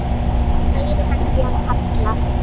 heyrir hann síðan kallað.